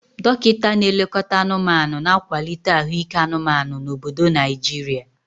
Dokita na-elekọta anụmanụ, na-akwalite ahụike anụmanụ na obodo Naijiria.